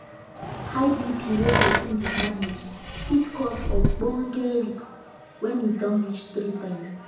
high bp wey persin dey manage fit cause ogboge risk when e don reach three times